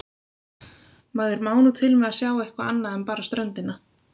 Maður má nú til með að sjá eitthvað annað en bara ströndina.